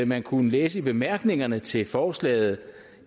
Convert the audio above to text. man kunne læse i bemærkningerne til forslaget